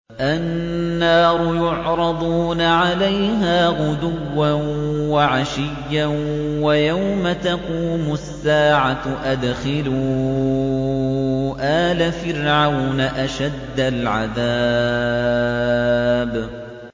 النَّارُ يُعْرَضُونَ عَلَيْهَا غُدُوًّا وَعَشِيًّا ۖ وَيَوْمَ تَقُومُ السَّاعَةُ أَدْخِلُوا آلَ فِرْعَوْنَ أَشَدَّ الْعَذَابِ